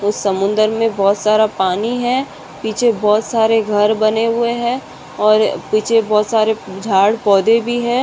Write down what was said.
तो समुन्दर मै बहुत सारा पानी है पीछे बहुत सारे घर बने हुए है और पीछे बहुत सारे झाड़ पौधे भी है।